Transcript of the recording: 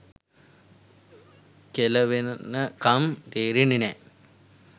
කෙළවෙනකම් තේරෙන්නෙ නෑ.